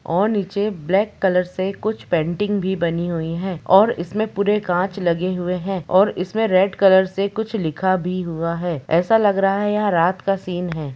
और नीचे black colour से कुछ पेंटिंग भी बनी हुई है और इसमें पूरे कांच लगे हुए हैं और इसमें रेड कलर से कुछ लिखा भी हुआ है ऐसा लग रहा है यह रात का सीन है।